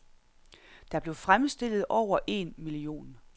Der blev fremstillet over en million.